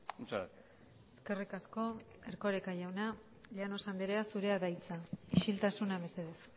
muchas gracias eskerrik asko erkoreka jauna llanos andrea zurea da hitza isiltasuna mesedez